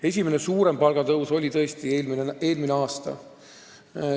Esimene suurem palgatõus oli tõesti eelmine aasta.